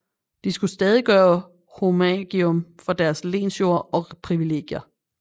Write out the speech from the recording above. De skulle stadig gøre homagium for deres lensjord og privilegier